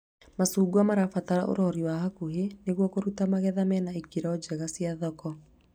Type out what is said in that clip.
Macungwa mabataraga ũrori wa hakuhĩ nĩguo kũruta magetha mena ĩkĩro njega cia thoko